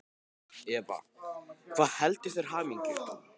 Eva: Hvað veldur þér hamingju?